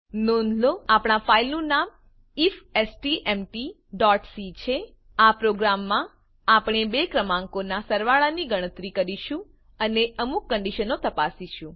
નોંધ લો આપણા ફાઈલનું નામ ifstmtસી છે આ પ્રોગ્રામમાં આપણે બે ક્રમાંકોનાં સરવાળાની ગણતરી કરીશું અને અમુક કંડીશનો તપાસીશું